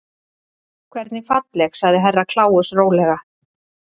Hvernig falleg sagði Herra Kláus rólega.